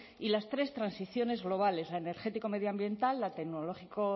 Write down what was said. y las tres transiciones globales la energético medioambiental la tecnológico